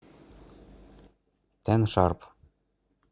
тэн шарп